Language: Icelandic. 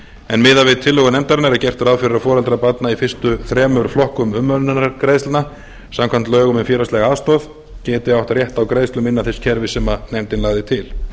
en miðað við tillögu nefndarinnar er gert ráð fyrir að foreldrar barna í fyrstu þremur flokkum umönnunargreiðslna samkvæmt lögum um félagslega aðstoð geti átt rétt á greiðslum innan þess kerfis sem nefndin lagði til